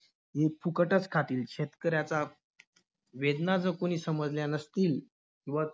हे फुकटच खातील. शेतकऱ्याचा वेदना जर कोणी समजल्या नसतील व